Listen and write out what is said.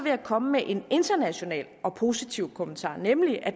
jeg komme med en international og positiv kommentar nemlig at